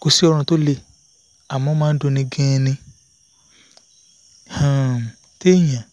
kò sí ọrùn tó le àmọ́ ó máa ń dunni gan-an um téèyàn